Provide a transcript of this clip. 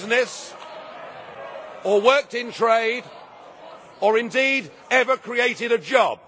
in business, or worked in trade, or indeed ever created a job.